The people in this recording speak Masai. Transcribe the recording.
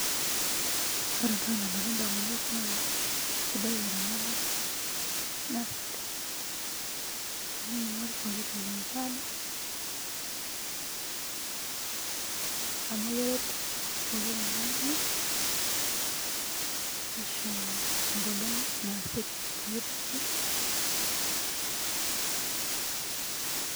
Ore entoki nalotu edamunot naa kisidai eramatare naa kisidai teniking'or pooki toki nikiata amu keret pooki tung'ani nishoo egolon naasie pooki toki